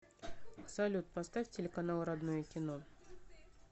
салют поставь телеканал родное кино